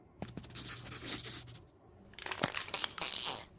Lögun augasteinsins lýtur stjórn brárvöðva.